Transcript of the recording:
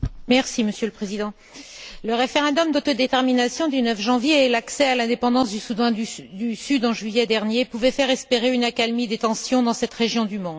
Monsieur le Président, le référendum d'autodétermination du 9 janvier et l'accès à l'indépendance du Soudan du Sud, en juillet dernier, pouvaient faire espérer une accalmie des tensions dans cette région du monde.